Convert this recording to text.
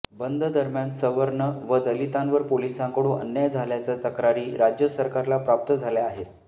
बंद दरम्यान सवर्ण व दलितांवर पोलिसांकडून अन्याय झाल्याच्या तक्रारी राज्य सरकारला प्राप्त झाल्या आहेत